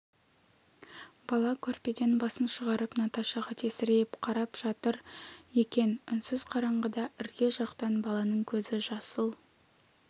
бала көрпеден басын шығарып наташаға тесірейіп қарап жатыр екен үнсіз қараңғыда ірге жақтан баланың көзі жасыл